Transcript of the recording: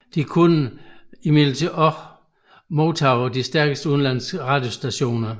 De kunne imidlertid også modtage de stærkeste udenlandske radiostationer